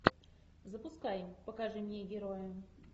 запускай покажи мне героя